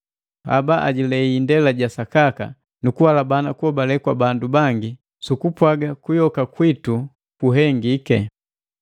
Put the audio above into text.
Haba ajilei indela ja sakaka, nu kuhalabana kuhobale kwa bandu bangi sukupwaga kuyoka kwitu guhengiki.